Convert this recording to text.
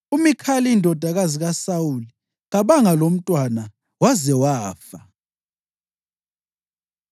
UMikhali indodakazi kaSawuli kabanga lomntwana waze wafa.